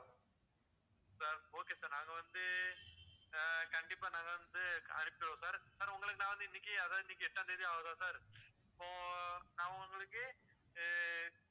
sir okay sir நாங்க வந்து அஹ் கண்டிப்பா நாங்க வந்து அனுப்புவோம் sir sir உங்களுக்கு நான்வந்து இன்னைக்கு அதை இன்னைக்கு எட்டாந் தேதி ஆவுதா sir இப்போ நான் உங்களுக்கு ஹம்